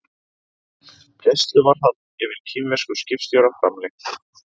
Gæsluvarðhald yfir kínverskum skipstjóra framlengt